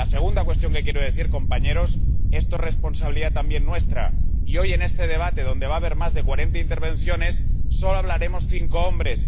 Y la segunda reflexión que quiero hacer, compañeros esto es responsabilidad también nuestra y, hoy, en este debate, en el que va a haber más de cuarenta intervenciones, solo hablaremos cinco hombres.